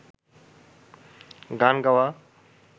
গান গাওয়া